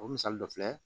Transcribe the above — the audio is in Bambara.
O misali dɔ filɛ